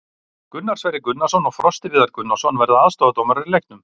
Gunnar Sverrir Gunnarsson og Frosti Viðar Gunnarsson verða aðstoðardómarar í leiknum.